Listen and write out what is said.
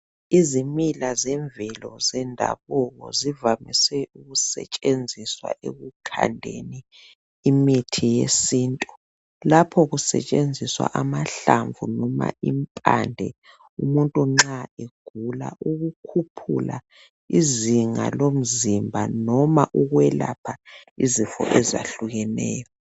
Izimila zemvelo zendabuko zivamise ukusetshenziswa ekukhandeni imithi yesintu lapho kusetshenziswa amahlamvu noma impande umuntu nxa egula ukukhuphula izinga lomzimba noma ukwelapha izifo ezahlukeneyo.